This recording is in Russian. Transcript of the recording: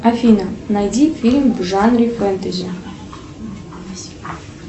афина найди фильм в жанре фэнтези